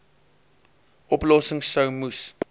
oplossings sou moes